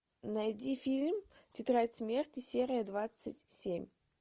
найди фильм тетрадь смерти серия двадцать семь